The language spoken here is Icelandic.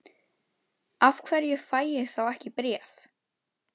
Af hverju fæ ég þá ekki bréf?